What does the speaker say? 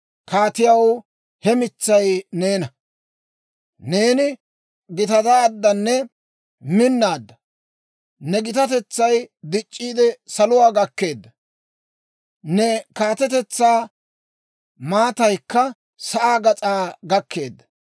kaatiyaw, he mitsay neena! Neeni gitataaddanne minnaadda; ne gitatetsay dic'c'iide, saluwaa gakkeedda; ne kaatetetsaa maataykka sa'aa gas'aa gakkeedda.